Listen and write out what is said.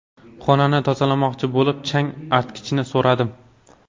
Xonani tozalamoqchi bo‘lib, chang artkichni so‘radim.